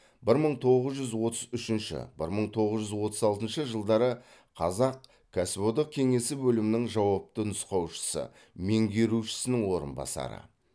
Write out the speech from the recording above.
бір мың тоғыз жүз отыз үшінші бір мың тоғыз жүз отыз алтыншы жылдары қазақ кәсіподақ кеңесі бөлімінің жауапты нұсқаушысы меңгерушісінің орынбасары